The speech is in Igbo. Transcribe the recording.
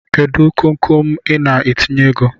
Kedu konkon Ị na-etinye ego?